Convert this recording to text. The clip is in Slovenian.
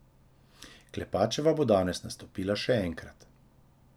Klepačeva bo danes nastopila še enkrat.